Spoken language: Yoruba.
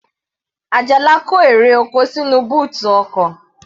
Ajala kó èrè oko sínú bóòtù ọkọ̀.